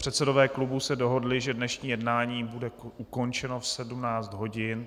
Předsedové klubů se dohodli, že dnešní jednání bude ukončeno v 17 hodin.